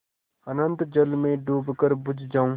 अनंत जल में डूबकर बुझ जाऊँ